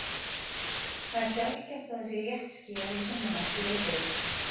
Það er sjaldgæft að það sé léttskýjað í sunnanátt í Reykjavík.